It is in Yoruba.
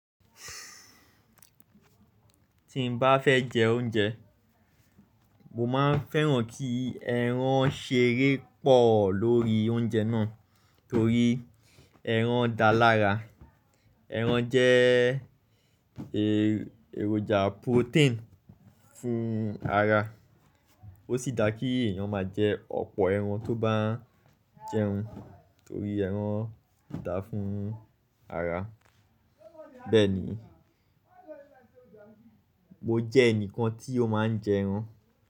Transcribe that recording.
Tí nbá fẹ́ jẹ oúnjẹ, mo máa ń fẹ́ràn kí ẹran ṣeré pọ̀ lórí oúnjẹ náà torí ẹran dáa lára. Ẹran jẹ́ èròjà protein fún ara. Ó sì dà kí èèyàn máa jẹ ọ̀pọ̀ ẹran tó bá ń jẹun torí ẹran dáa fún ara. Bẹ́ẹ̀ ni, mo jẹ ẹnìkan tí ó máa ń jẹ ẹran.